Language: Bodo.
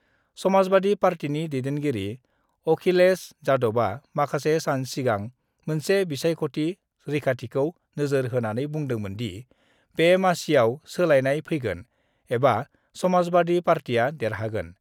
समाजबादि पार्टिनि दैदैनगिरि अकिलेज यादबआ माखासे सान सिगां मोनसे बिसायख'थि रैखाथिखौ नोजोर होनानै बुंदोंमोनदि, बे मासियाव सोलायनाय फैगोन एबा समाजबादि पार्टिआ देरहागोन।